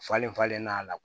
Falen falen n'a la